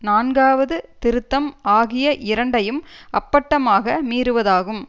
நான்காவது திருத்தம் ஆகிய இரண்டையும் அப்பட்டமாக மீறுவதாகும்